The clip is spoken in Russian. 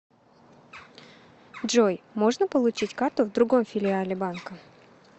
джой можно получить карту в другом филиале банка